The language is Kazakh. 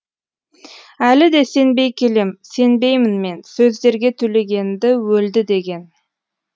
әлі де сенбей келем сенбеймін мен сөздерге төлегенді өлді деген